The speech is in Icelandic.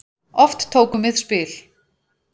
Oft tókum við spil.